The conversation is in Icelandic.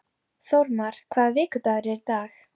Þórmar, hvaða vikudagur er í dag?